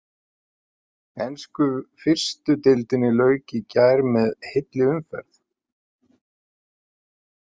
Ensku fyrstu deildinni lauk í gær með heilli umferð.